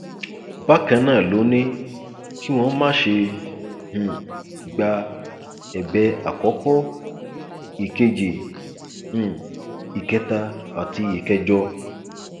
bákan náà ló ní kí ọn má ṣe um gba ẹbẹ àkọkọ ìkejì um ìkẹta àti ìkẹjọ